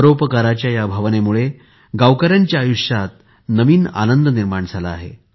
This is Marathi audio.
परोपकाराच्या या भावनेमुळे गावकऱ्यांच्या आयुष्यात नवीन आनंद निर्माण झाला आहे